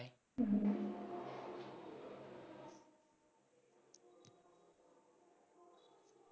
হম।